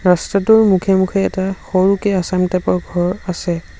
ৰাস্তাটোৰ মুখে মুখে এটা সৰুকে আছাম টাইপ ৰ ঘৰ আছে।